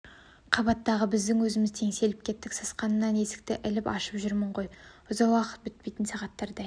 қабаттағы біздің өзіміз теңселіп кеттік сасқанымнан есікті іліп ашып жүрмін ғой ұзақ уақыт бітпейтін сағаттардай